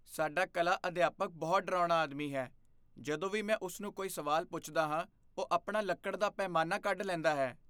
ਸਾਡਾ ਕਲਾ ਅਧਿਆਪਕ ਬਹੁਤ ਡਰਾਉਣਾ ਆਦਮੀ ਹੈ। ਜਦੋਂ ਵੀ ਮੈਂ ਉਸ ਨੂੰ ਕੋਈ ਸਵਾਲ ਪੁੱਛਦਾ ਹਾਂ, ਉਹ ਆਪਣਾ ਲੱਕੜ ਦਾ ਪੈਮਾਨਾ ਕੱਢ ਲੈਂਦਾ ਹੈ।